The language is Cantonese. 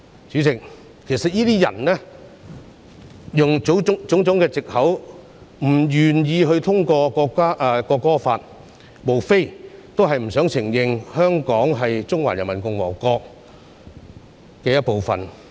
主席，有些人利用種種藉口，不願意通過《條例草案》，無非是不想承認香港是中華人民共和國的一部分。